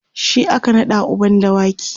shi aka naɗa uban dawaki